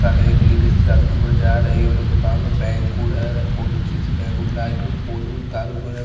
का दो एक लेडिस सड़की पर जा रही ओने दुकान बहोत अच्छी सी